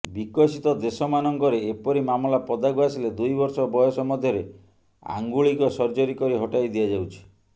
ବିକଶିତ ଦେଶମାନଙ୍କରେ ଏପରି ମାମଲା ପଦାକୁ ଆସିଲେ ଦୁଇବର୍ଷ ବୟସ ମଧ୍ୟରେ ଆଙ୍ଗୁଳିକ ସର୍ଜରୀ କରି ହଟାଇ ଦିଆଯାଉଛି